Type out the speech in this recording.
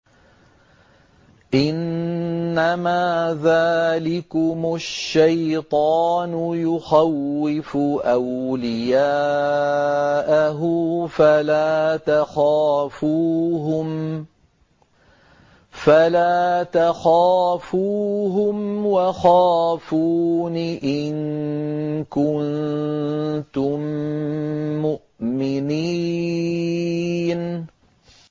إِنَّمَا ذَٰلِكُمُ الشَّيْطَانُ يُخَوِّفُ أَوْلِيَاءَهُ فَلَا تَخَافُوهُمْ وَخَافُونِ إِن كُنتُم مُّؤْمِنِينَ